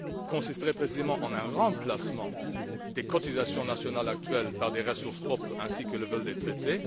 consisterait, précisément, en un remplacement des cotisations nationales actuelles par des ressources propres, ainsi que le veulent les traités.